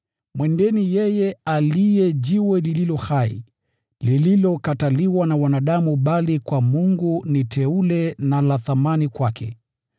Mnapokuja kwake, yeye aliye Jiwe lililo hai, lililokataliwa na wanadamu bali kwa Mungu ni teule na la thamani kwake,